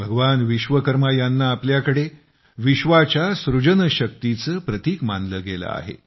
भगवान विश्वकर्मा यांना आपल्याकडे विश्वाच्या सृजनशक्तीचे प्रतीक मानले गेले आहे